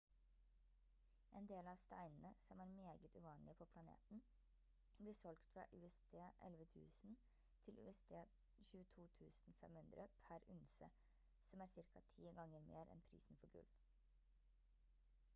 en del av steinene som er meget uvanlige på planeten blir solgt fra usd 11 000 til usd 22 500 per unse som er ca 10 ganger mer enn prisen for gull